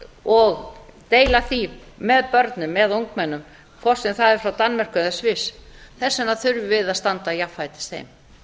og deila því með börnum eða ungmennum hvort sem það er frá danmörku eða sviss þess vegna þurfum við að standa jafnfætis